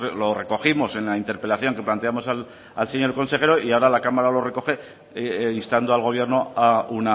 lo recogimos en la interpelación que planteamos al señor consejero y ahora la cámara lo recoge instando al gobierno a